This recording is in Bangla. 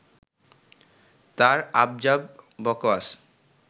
তাঁর আবজাব বকোয়াস